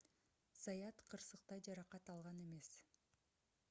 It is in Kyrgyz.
заят кырсыкта жаракат алган эмес